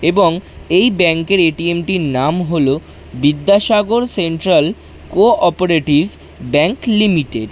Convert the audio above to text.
এবং এই ব্যাংক এর এ_টি_এম টির নাম হলো Vidyasagar central cooperative bank limited.